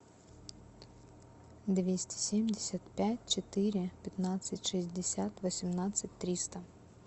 двести семьдесят пять четыре пятнадцать шестьдесят восемнадцать триста